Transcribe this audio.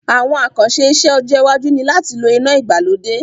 Àwon àkànse isẹ́ ọjọ́ iwájú ni láti lo inà ìgbàlódé